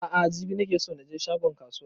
A'a jibi ne nake so na je shagon kasuwan